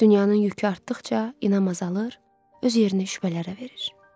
Dünyanın yükü artdıqca inam azalır, öz yerini şübhələrə verir.